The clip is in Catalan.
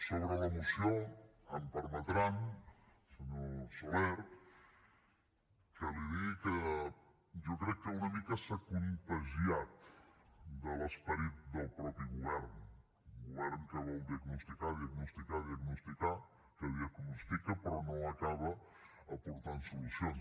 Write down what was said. sobre la moció em permetrà senyor soler que li digui que jo crec que una mica s’ha contagiat de l’esperit del mateix govern d’un govern que vol diagnosticar diagnosticar diagnosticar que diagnostica però no acaba aportant solucions